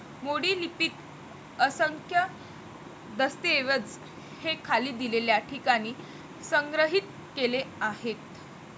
मोडी लिपीत असंख्य दस्तऐवज हे खाली दिलेल्या ठिकाणी संग्रहित केले आहेत.